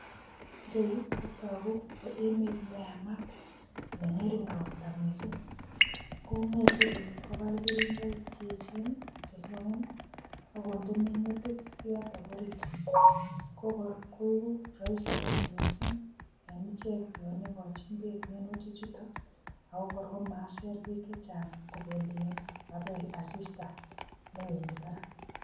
Ireyu kotogu ko emet ne yamat ne ng'ering ropta mising. Kong'eete biiik kobal keringoik che echen che loen ak konde minutik yotok orit koigu roisi kot mising en icheget yon igonjin beek minutichuton iii ago kor komaiser beek chechang kobendien kogabel asista newendi barak.